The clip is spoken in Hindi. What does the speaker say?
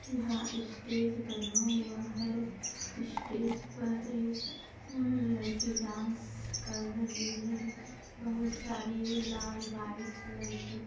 यहाँ इस्टेज बना हुआ है इस्टेज पर एक लड़की डांस कर रही है बहुत सारी लाल व्हाइट कलर की--